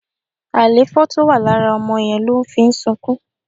Alefo tó wà lára ọmọ yẹn ló ń fí sunkún